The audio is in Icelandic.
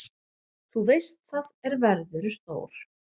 Þú veist það, er verðurðu stór.